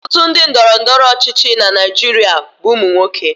Ọtụtụ ndị ndọrọndọrọ ọchịchị na Naijiria bụ ụmụ nwoke.